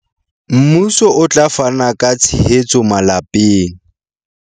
Mmuso o tla fana ka tshehetso malapeng